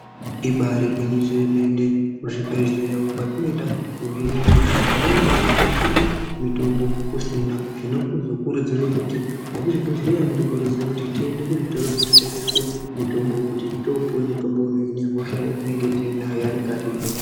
Ibari gwinyiso yemene kuzvibhedhleya kwatinoenda kohinwe hosha pamweni pacho tinosvike mitombo kusina zvinozokurudzirwe kuti vekuzvibhedhleya vanokurudzire kuti tiende kuzvitoro zvinotengeswe mitombo kuti topuwa mutombo unohine hosha yatinenge tinayo yavanenge vativheneka.